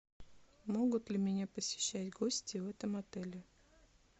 могут ли меня посещать гости в этом отеле